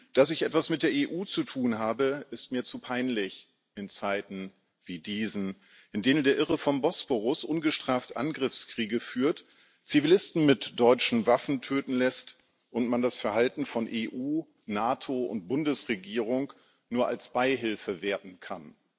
Dass ich etwas mit der EU zu tun habe, ist mir zu peinlich in Zeiten wie diesen, in denen der Irre vom Bosporus ungestraft Angriffskriege führt, Zivilisten mit deutschen Waffen töten lässt und man das Verhalten von EU, NATO und Bundesregierung nur als Beihilfe werten kann.